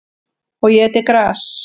Og étið gras.